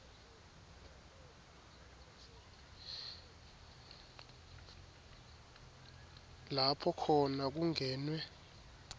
lapho khona kungenwe